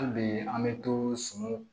Hali bi an bɛ to sun